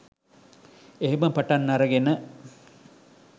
එහෙම පටන් අරගෙන